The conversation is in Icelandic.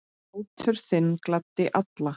Hlátur þinn gladdi alla.